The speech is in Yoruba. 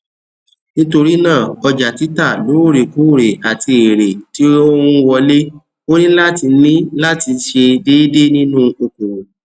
nítorí náà ọjà títà lóòrèkóòrè àti èèrè tí ó ń wọlé ó ní láti ní láti ṣe déédé nínú okòwò